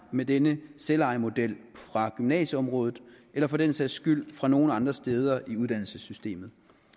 med denne selvejemodel fra gymnasieområdet eller for den sags skyld fra nogen andre steder i uddannelsessystemet